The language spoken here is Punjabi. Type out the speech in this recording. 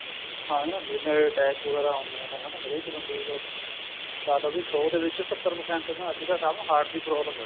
ਹਾਂਜੀ ਜਿਵੇਂ attack ਵਗੈਰਾ ਹੁੰਦੇ ਏ ਹਨਾ ਹਰੇਕ ਬੰਦੇ ਦਾ ਲਾਲੋ ਸੋ ਦੇ ਵਿੱਚ ਸੱਤਰ percent ਅੱਜ ਦੇ time ਸਭ ਨੂੰ heart ਦੀ problem ਏ